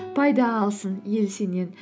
пайда алсын ел сенен